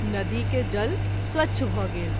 नदी के जल स्वच्छ भ’ गेल।